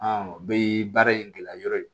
o bɛɛ ye baara in gɛlɛyayɔrɔ ye